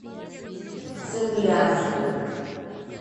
цимлянску